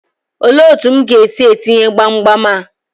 Olee otu m ga-esi etinye gbamgbam a?